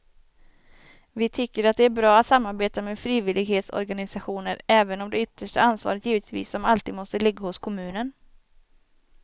Vi tycker att det är bra att samarbeta med frivillighetsorganisationer även om det yttersta ansvaret givetvis som alltid måste ligga hos kommunen.